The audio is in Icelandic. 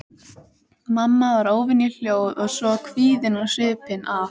Mamma var óvenju hljóð og svo kvíðin á svipinn að